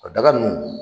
O daga nunnu